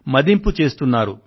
మదింపు చేస్తున్నారు